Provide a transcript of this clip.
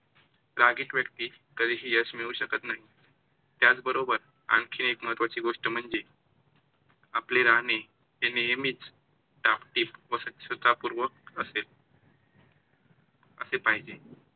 रागीट व्यक्ती कधी ही यश मिळू शकत नाही. त्याचबरोबर आणखी एक महत्त्वाची गोष्ट म्हणजे- आपले राहणे हे नेहेमीच टाप-टीप व स्वच्छतापुर्वक असेल. असे पाहिजे.